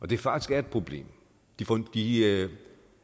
det faktisk er et problem de er